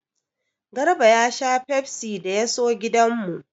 Garba ya sha fefsi da ya so gidan mu.